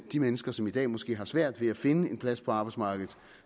de mennesker som i dag måske har svært ved at finde en plads på arbejdsmarkedet